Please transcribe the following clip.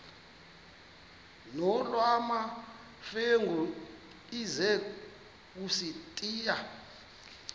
nolwamamfengu ize kusitiya